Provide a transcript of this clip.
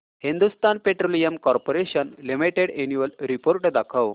Hindustan Petroleum Corporation Limited annual report दाखव